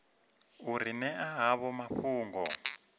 u ri ṅea havho mafhungo